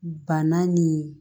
Bana ni